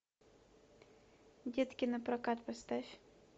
детки напрокат поставь